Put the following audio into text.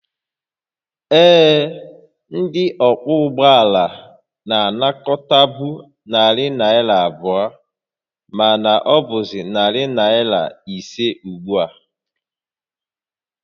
Ee, ndị ọkwọ ụgbọ ala na-anakọtabu narị naira abụọ, mana ọ bụzị narị naira ise ugbu a